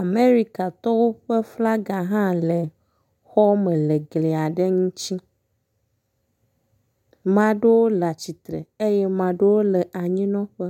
amerikatɔwo ƒe flaga hã le xɔ me le gliaɖe ŋtsi maɖewo le atsitsre eye maɖewo le anyinɔƒe